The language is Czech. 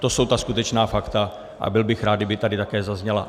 To jsou ta skutečná fakta a byl bych rád, kdyby tady také zazněla.